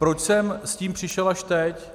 Proč jsem s tím přišel až teď?